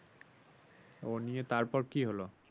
ও নিয়ে তারপর কি হলো